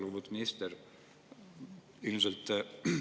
Lugupeetud minister!